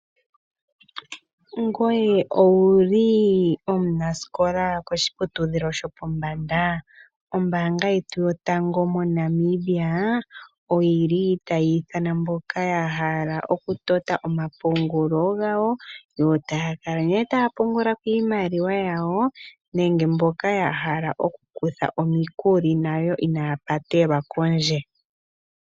Ngoye owuli omunasikola koshiputudhilo shopombanda, ombanga yetu yotango moNamibia oyili tayiithana mboka ya hala okutota omapungulo ngawo yo taakala taapungula iimaliwa yawo nenge mboka yahala okukutha omikuli nayo inaapatelwa kondje.